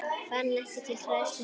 Fann ekki til hræðslu núna.